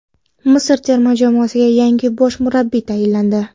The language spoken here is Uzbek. Misr terma jamoasiga yangi bosh murabbiy tayinlandi.